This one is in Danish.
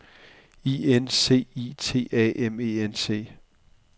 I N C I T A M E N T